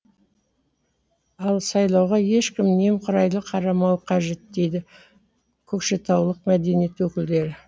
ал сайлауға ешкім немқұрайлы қарамауы қажет дейді көкшетаулық мәдениет өкілдері